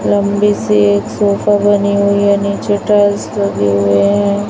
लंबी सी एक सोफा बनी हुई है नीचे टाइल्स लगे हुए हैं।